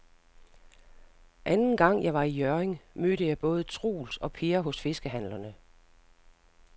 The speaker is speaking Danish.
Anden gang jeg var i Hjørring, mødte jeg både Troels og Per hos fiskehandlerne.